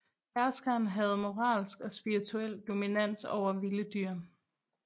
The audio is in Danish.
Herskeren havde moralsk og spirituel dominans over vilde dyr